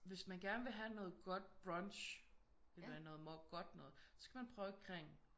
Hvis man gerne vil have noget godt brunch eller noget godt noget så skal man prøve Kring